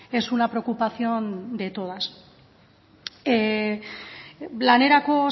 es una preocupación de todas lanerako